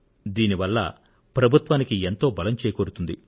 దీని వల్ల ప్రభుత్వానికి ఎంతో బలం చేకూరుతుంది